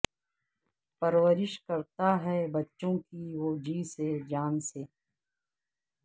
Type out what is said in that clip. پرورش کرتا ہے بچوں کی وہ جی سے جان سے